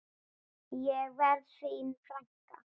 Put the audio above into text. Ég verð þín frænka.